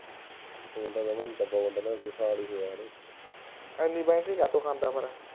ਇਤਨਾ ਬੈਟਰੀ ਕਿਓਂ ਖਾਤਾ ਐਫ. ਆਈ. ਆਰ